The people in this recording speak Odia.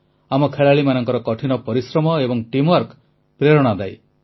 ଆମ ଖେଳାଳିମାନଙ୍କ କଠିନ ପରିଶ୍ରମ ଏବଂ ଟିମ୍ୱାର୍କ ପ୍ରେରଣାଦାୟୀ